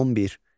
On bir.